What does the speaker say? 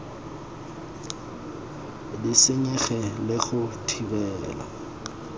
di senyege le go thibela